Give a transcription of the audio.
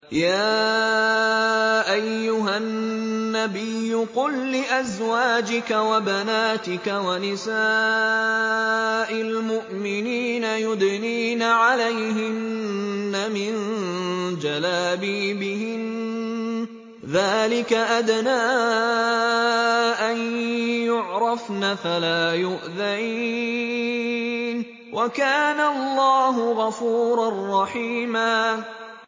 يَا أَيُّهَا النَّبِيُّ قُل لِّأَزْوَاجِكَ وَبَنَاتِكَ وَنِسَاءِ الْمُؤْمِنِينَ يُدْنِينَ عَلَيْهِنَّ مِن جَلَابِيبِهِنَّ ۚ ذَٰلِكَ أَدْنَىٰ أَن يُعْرَفْنَ فَلَا يُؤْذَيْنَ ۗ وَكَانَ اللَّهُ غَفُورًا رَّحِيمًا